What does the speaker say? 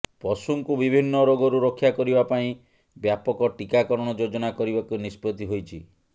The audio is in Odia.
ପଶୁଙ୍କୁ ବିଭିନ୍ନ ରୋଗରୁ ରକ୍ଷା କରିବା ପାଇଁ ବ୍ୟାପକ ଟୀକାକରଣ ଯୋଜନା କରିବାକୁ ନିଷ୍ପତ୍ତି ହୋଇଛି